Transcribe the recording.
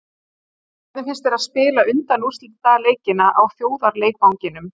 Hvernig finnst þér að spila undanúrslitaleikina á þjóðarleikvanginum?